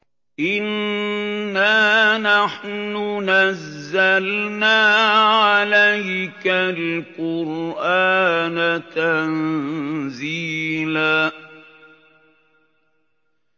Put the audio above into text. إِنَّا نَحْنُ نَزَّلْنَا عَلَيْكَ الْقُرْآنَ تَنزِيلًا